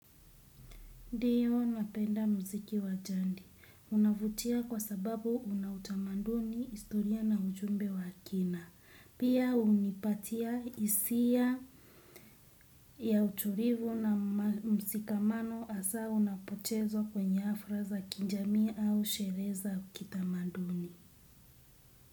Ndio napenda muziki wa jandi. Unavutia kwa sababu unautamanduni historia na ujumbe wa kina. Pia hunipatia hisia ya utulivu na msikamano hasaa unapochezwa kwenye hafla za kinjamii au sherehe za kitamanduni.